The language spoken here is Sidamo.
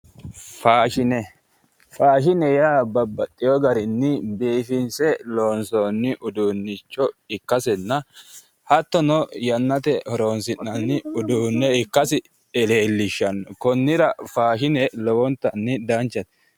Faashshine faashshine yaa babaxewo garinni biifinse loonsoonni usuunnicho ikasinnahattono yannatenni horoonsi'nanni uduunne ikassil leellishshanno konnira faashshine lowonttanni danchate